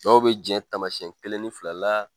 Dɔw be jɛn taamasiyɛn kelen ni fila la